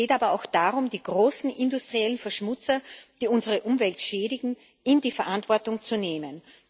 Es geht aber auch darum, die großen industriellen Verschmutzer, die unsere Umwelt schädigen, in die Verantwortung zu nehmen.